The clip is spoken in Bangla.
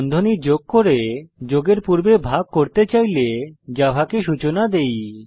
বন্ধনী যোগ করে যোগের পূর্বে ভাগ করতে চাইলে জাভাকে সূচনা দেই